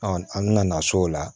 an bɛna na so o la